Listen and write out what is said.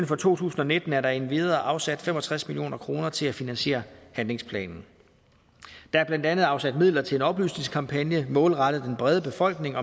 for to tusind og nitten er der endvidere afsat fem og tres million kroner til at finansiere handlingsplanen der er blandt andet afsat midler til en oplysningskampagne målrettet den brede befolkning